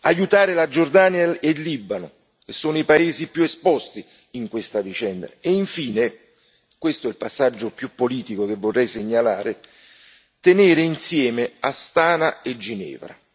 aiutare la Giordania e il Libano, che sono i paesi più esposti in questa vicenda e, infine, questo è il passaggio più politico che vorrei segnalare, tenere insieme Astana e Ginevra.